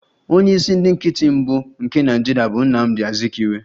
Onye isi ndị nkịtị mbụ nke Nigeria bụ Nnamdi Azikiwe